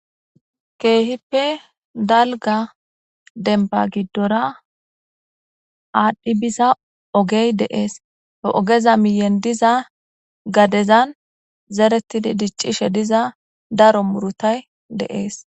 Keehippe dalga demba gidora aadhdhi biza ogey de'es. He ogeza miyen diza gadezan zeretidi diccishe diza daro murutay de'es.